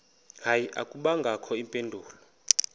hayi akubangakho mpendulo